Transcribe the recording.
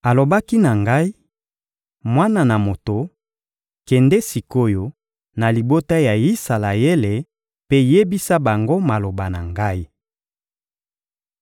Alobaki na ngai: «Mwana na moto, kende sik’oyo na libota ya Isalaele mpe yebisa bango maloba na Ngai.